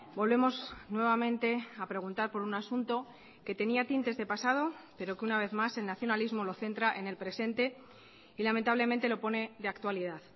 volvemos nuevamente a preguntar por un asunto que tenía tintes de pasado pero que una vez más el nacionalismo lo centra en el presente y lamentablemente lo pone de actualidad